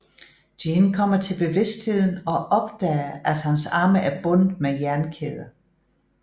Jin kommer til bevidstheden og opdager at hans arme er bundet med jernkæder